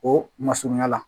O masurunya la